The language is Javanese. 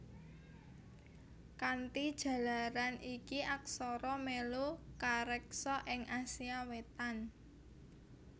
Kanthi jalaran iki aksara mèlu kareksa ing Asia Wétan